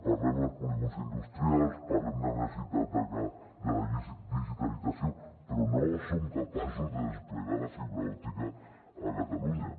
parlem dels polígons industrials parlem de necessitat de la digitalització però no som capaços de desplegar la fibra òptica a catalunya